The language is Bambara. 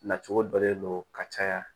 Nacogo dɔ le don ka caya